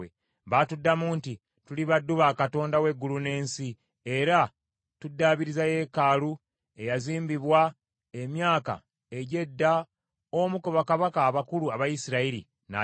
Baatuddamu nti: “Tuli baddu ba Katonda w’eggulu n’ensi, era tuddaabiriza yeekaalu eyazimbibwa emyaka egy’edda omu ku bakabaka abakulu aba Isirayiri, n’agimala.